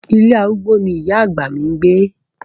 Ilé arúgbó ni ìyá àgbà mi ń gbé.